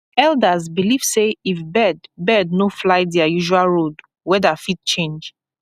elders believe say if bird bird no fly their usual road weather fit change